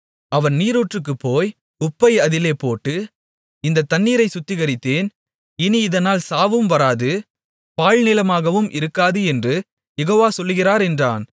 அவன் நீரூற்றிற்குப் போய் உப்பை அதிலே போட்டு இந்தத் தண்ணீரை சுத்திகரித்தேன் இனி இதனால் சாவும் வராது பாழ்நிலமாகவும் இருக்காது என்று யெகோவா சொல்லுகிறார் என்றான்